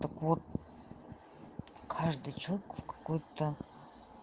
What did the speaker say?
так вот каждый человек в какой-то